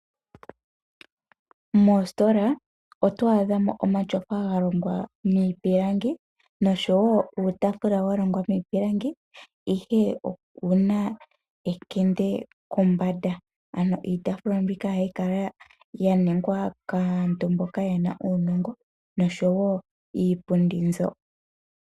Moostola otwaadhamo omatyofa ga longwa niipilangi osho woo uutaafula wa longwa miipilangi ihe okuna ekende kombanda. Iitaafula mbika oga yi kala ya ningwa kaantu mboka yena uunongo, osho woo iipundi mbyo.